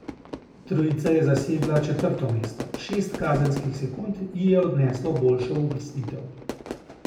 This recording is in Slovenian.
Trojica je zasedla četrto mesto, šest kazenskih sekund ji je odneslo boljšo uvrstitev.